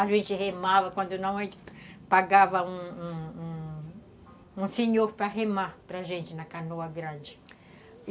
A gente remava quando não, a gente pagava um um um senhor para remar para a gente na canoa grande.